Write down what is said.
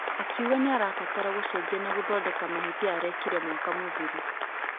Akĩuga nĩarabatara gũcenjia na gũthondeka mahĩtia arĩkire mwaka mũthiru.